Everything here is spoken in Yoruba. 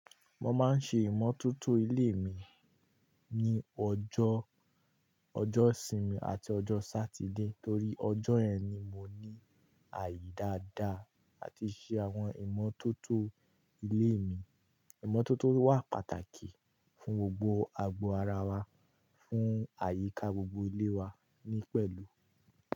Mo máa ń ṣe ìmọ́tótó ilé mi ní ọjọ́, ọjọ́ ìsinmi àti ọjọ́ Satide torí ọjọ́ ẹ ni mo ní àyè dáadáa àti ṣe àwọn ìmọ́tótó ilé mi. Ìmọ́tótó wà pàtàkì fún gbogbo agbo ara wa, fún àyíká gbogbo ilé wa ní pẹ̀lú.